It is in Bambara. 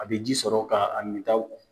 A bɛ ji sɔrɔ ka a mintaw